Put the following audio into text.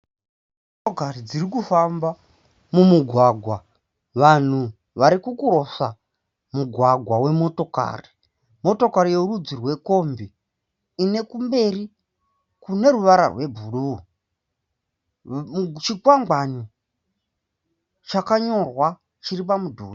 Motokari dzirikufamba mumugwagwa. Vanhu vari kucrosser mugwagwa wemotokari. Motokari yerudzi rwekombi ine kumberi kune ruvara rwebhuruu . Chikwangwani chamanyorwa chiri pamudhuri.